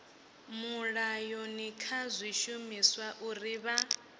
mulayoni kha zwishumiswa uri vha